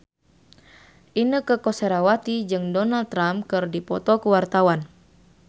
Inneke Koesherawati jeung Donald Trump keur dipoto ku wartawan